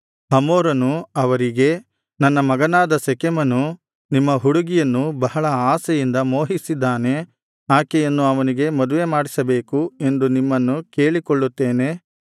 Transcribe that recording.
ಹಮೋರನು ಅವರಿಗೆ ನನ್ನ ಮಗನಾದ ಶೆಕೆಮನು ನಿಮ್ಮ ಹುಡುಗಿಯನ್ನು ಬಹಳ ಆಶೆಯಿಂದ ಮೋಹಿಸಿದ್ದಾನೆ ಆಕೆಯನ್ನು ಅವನಿಗೆ ಮದುವೆ ಮಾಡಿಕೊಡಬೇಕು ಎಂದು ನಿಮ್ಮನ್ನು ಕೇಳಿಕೊಳ್ಳುತ್ತೇನೆ